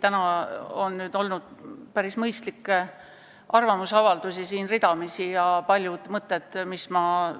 Täna on ridamisi kõlanud päris mõistlikke arvamusavaldusi ja paljud mõtted, mis ma